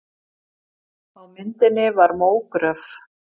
Á myndinni var mógröf.